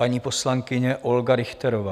Paní poslankyně Olga Richterová.